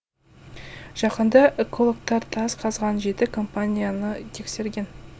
жақында экологтар тас қазған жеті компанияны тексерген